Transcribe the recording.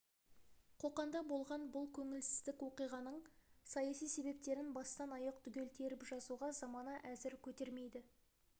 қоқанда болған бұл көңілсіздік оқиғаның саяси себептерін бастан-аяқ түгел теріп жазуға замана әзір көтермейді